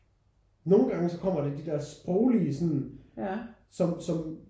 Nogen gange så kommer der de der sproglige som som